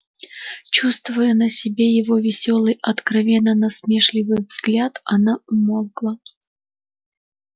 чувствуя на себе его весёлый откровенно насмешливый взгляд она умолкла